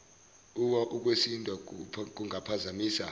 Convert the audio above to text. uwa ukwesindwa kungaphazamisa